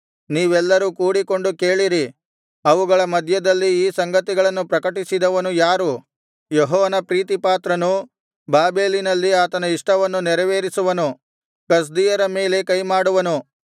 ನೀವೆಲ್ಲರು ಕೂಡಿಕೊಂಡು ಕೇಳಿರಿ ಅವುಗಳ ಮಧ್ಯದಲ್ಲಿ ಈ ಸಂಗತಿಗಳನ್ನು ಪ್ರಕಟಿಸಿದವನು ಯಾರು ಯೆಹೋವನ ಪ್ರೀತಿಪಾತ್ರನು ಬಾಬೆಲಿನಲ್ಲಿ ಆತನ ಇಷ್ಟವನ್ನು ನೆರವೇರಿಸುವನು ಕಸ್ದೀಯರ ಮೇಲೆ ಕೈಮಾಡುವನು